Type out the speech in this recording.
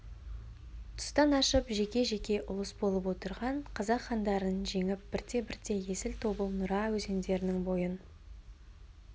тұстан ашып жеке-жеке ұлыс болып отырған қазақ хандарын жеңіп бірте-бірте есіл тобыл нұра өзендерінің бойын